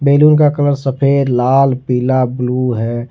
Balloon का colour सफेद लाल पीला ब्लू है।